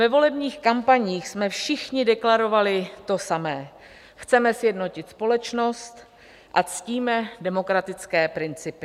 Ve volebních kampaních jsme všichni deklarovali to samé - chceme sjednotit společnost a ctíme demokratické principy.